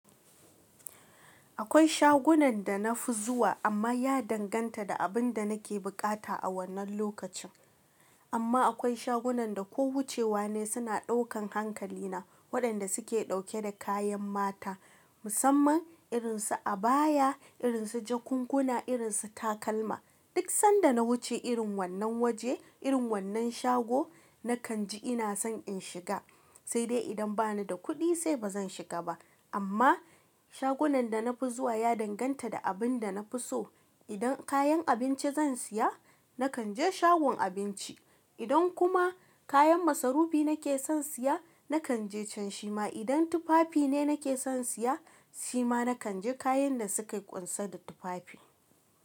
Akwai shagunan da na fi zuwa amma ya danganta da abin da nake buƙata a wannan lokacin. Amma akwai shagunan da ko wucewa ne suna ɗaukan hankalina waɗanda suke ɗauke da kayan mata musamman irin su abaya, irin su jakunkuna, irin su takalma. Duk sanda na wuce irin wannan waje, irin wannan shago nakan ji ina son in shiga, sai dai idan bani da kuɗi sai ba zan shiga ba. Amma shagunan da na fi zuwa ya danganta da abin da na fi so. Idan kayan abinci zan siya nakan je shagon abinci, idan kuma kayan masarufi nake son siya nakan je can shi ma idan tufafi ne nake son siya shi ma nakan je kayan da suke ƙunsan da tufafi.